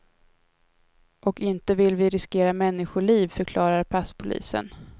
Och inte vill vi riskera människoliv, förklarar passpolisen.